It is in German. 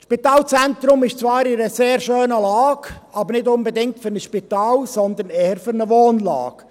Das Spitalzentrum ist zwar an einer sehr schönen Lage, aber nicht unbedingt für ein Spital, sondern eher für eine Wohnlage.